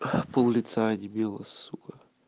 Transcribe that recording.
пол лица онемело сука